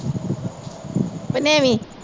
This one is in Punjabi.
ਪਨੇਵੀ।